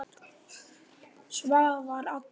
Svavar allur.